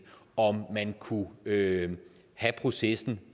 om man kunne have have processen